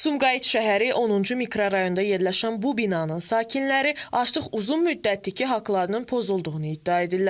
Sumqayıt şəhəri 10-cu mikrorayonda yerləşən bu binanın sakinləri artıq uzun müddətdir ki, haqlarının pozulduğunu iddia edirlər.